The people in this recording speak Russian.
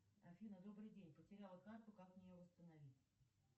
афина добрый день потеряла карту как мне ее восстановить